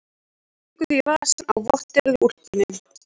Stingur þeim í vasann á vatteruðu úlpunni.